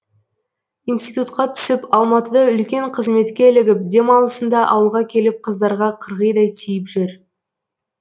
институтқа түсіп алматыда үлкен қызметке ілігіп демалысында ауылға келіп қыздарға қырғидай тиіп жүр